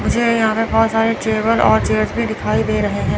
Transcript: मुझे यहां पे बहुत सारे टेबल और चेयर्स भी दिखाई दे रहे हैं।